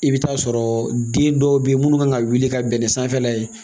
I bɛ taa sɔrɔ den dɔw bɛ yen minnu kan ka wuli ka bɛn ni sanfɛla ye